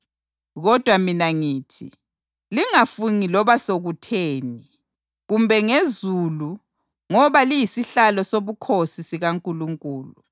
Kodwa mina ngithi, lingafungi loba sokutheni, kumbe ngezulu ngoba liyisihlalo sobukhosi sikaNkulunkulu;